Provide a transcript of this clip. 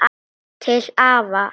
Til afa.